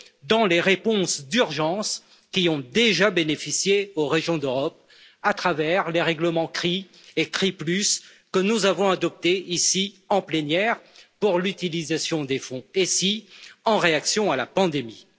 dans les réponses d'urgence qui ont déjà bénéficié aux régions d'Europe, à travers les règlements CRII et CRII Plus que nous avons adoptés ici, en plénière, pour l'utilisation des fonds ESI en réaction à la pandémie.